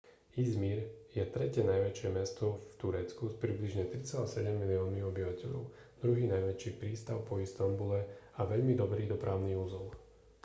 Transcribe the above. i̇zmir je tretie najväčšie mesto v turecku s približne 3,7 miliónmi obyvateľov druhý najväčší prístav po istanbule a veľmi dobrý dopravný uzol